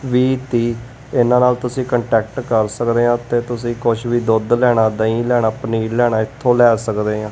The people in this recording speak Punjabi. ਵੀਹ ਤੀਹ ਇਹਨਾਂ ਨਾਲ ਤੁਸੀਂ ਕਾਂਟੈਕਟ ਕਰ ਸਕਦੇ ਹਾਂ ਤੇ ਤੁਸੀਂ ਕੁੱਛ ਵੀ ਦੁੱਧ ਲੈਣਾ ਦਹੀ ਲੈਣਾ ਪਨੀਰ ਲੈਣਾ ਇੱਥੋਂ ਲਏ ਸਕਦੇ ਹਾਂ।